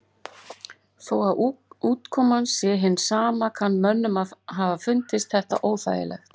Þó að útkoman sé hin sama kann mönnum að hafa fundist þetta óþægilegt.